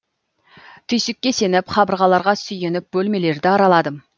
түйсікке сеніп қабырғаларға сүйеніп бөлмелерді араладым